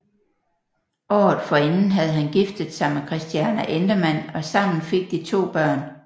Året forinden havde han giftet sig med Christiane Endemann og sammen fik de to børn